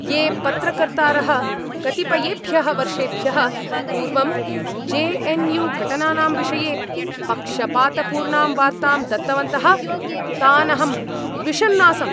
ये पत्रकर्तारः कतिपयेभ्यः वर्षेभ्यः पूर्वं जे एन् यू घटनानां विषये पक्षपातपूर्णां वार्तां दत्तवन्तः तान् अहं द्विषन् आसम्।